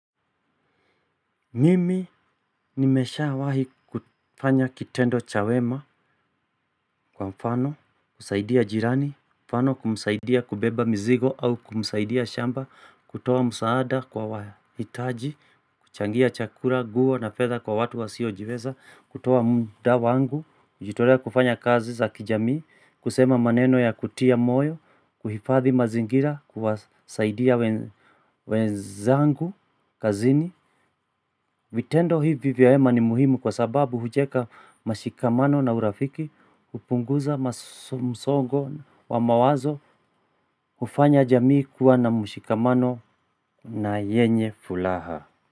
Mimi nimeshawahi kufanya kitendo cha wema kwa mfano, kusaidia jirani, mfano kumsaidia kubeba mzigo au kumsaidia shamba, kutoa msaada kwa wahitaji, kuchangia chakula, nguo na fedha kwa watu wasiojiweza, kutoa muda wangu, nijitolee kufanya kazi za kijamii, kusema maneno ya kutia moyo, kuhifadhi mazingira, kuwasaidia wenzangu kazini, vitendo hii vyema ni muhimu kwa sababu hujenga mashikamano na urafiki kupunguza msongo wa mawazo kufanya jamii kuwa na mshikamano na yenye furaha.